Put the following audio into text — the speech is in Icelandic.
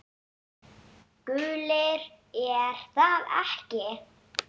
Gulir er það ekki?